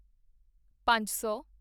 ਪੰਜ ਸੌ